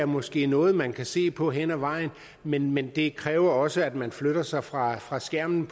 måske er noget man kan se på hen ad vejen men men det kræver også at man flytter sig fra fra skærmen